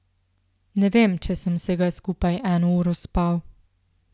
Ne vem, če sem vsega skupaj eno uro spal.